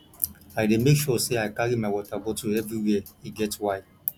i dey make sure sey i carry my water bottle everywhere e get why